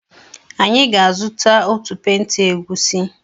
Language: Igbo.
Anyị ga-azụ otu penta egusi.